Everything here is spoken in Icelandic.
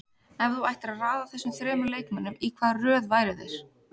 Ef þú ættir að raða þessum þremur leikmönnum, í hvaða röð væru þeir?